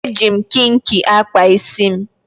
Eji m kinki akpa isi m.